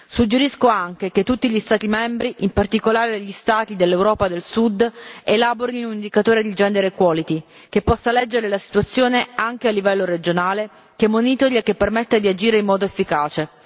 Suggerisco anche che tutti gli Stati membri, in particolare gli Stati dell'Europa del Sud, elaborino un indicatore di gender equality che possa leggere la situazione anche a livello regionale, che monitori e che permetta di agire in modo efficace.